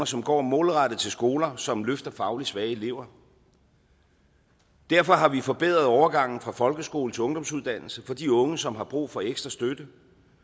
som går målrettet til skoler som løfter fagligt svage elever derfor har vi forbedret overgangen fra folkeskole til ungdomsuddannelse for de unge som har brug for ekstra støtte